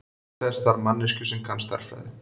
Til þessa þarf manneskju sem kann stærðfræði.